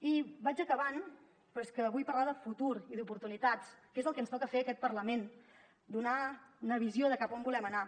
i vaig acabant però és que vull parlar de futur i d’oportunitats que és el que ens toca fer a aquest parlament donar una visió de cap a on volem anar